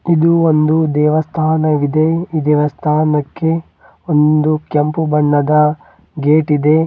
ಹಾಗು ಒಂದು ದೇವಸ್ಥಾನವಿದೆ ಈ ದೇವಸ್ಥಾನಕ್ಕೆ ಒಂದು ಕೆಂಪು ಬಣ್ಣದ ಗೇಟ್ ಇದೆ.